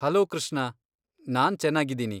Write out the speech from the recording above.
Hello Krishna, ನಾನ್ ಚೆನ್ನಾಗಿದ್ದೀನಿ.